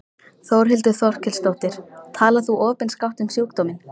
Þórhildur Þorkelsdóttir: Talar þú opinskátt um sjúkdóminn?